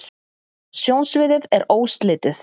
sjónsviðið er óslitið